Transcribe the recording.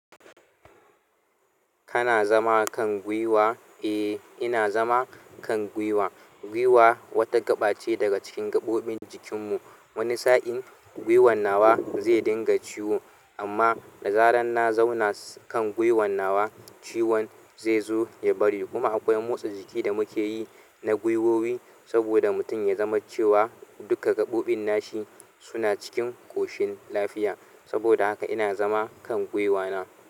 Kana zama kan gwiwa? Eh, ina zama kan gwiwa. Gwiwa wata gaɓa ce daga cikin gaɓoɓin jikin mu. Wani sa'in gwiwan nawa zai dinga ciwo, amma da zarar na zauna kan gwiwan nawa, ciwon zai zo ya bari. Kuma akwai motsa jiki da muke yi na gwiwowi saboda mutum ya zama cewa duka gaɓoɓin nashi suna cikin ƙoshin lafiya. Saboda haka ina zama kan gwiwana.